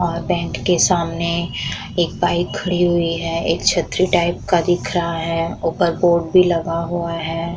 और बैंक के सामने एक बाइक खड़ी हुई एक छतरी टाइप का दिख रहा है। ऊपर बोर्ड भी लगा हुआ है।